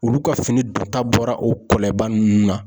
Olu ka fini don ta bɔra o kɔlɛba ninnu na.